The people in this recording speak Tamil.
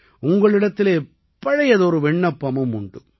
உங்களிடத்திலே பழையதொரு விண்ணப்பமும் உண்டு